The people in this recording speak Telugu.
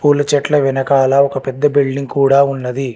కొన్ని చెట్ల వెనకాల ఒక పెద్ద బిల్డింగ్ కూడా ఉన్నది.